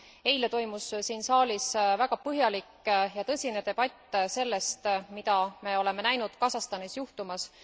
Eile toimus siin saalis väga põhjalik ja tõsine debatt selle üle, mida me oleme näinud Kasahstanis juhtumas.